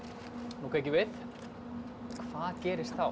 nú kveikjum við hvað gerist þá